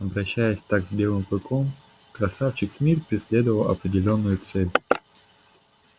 обращаясь так с белым клыком красавчик смит преследовал определённую цель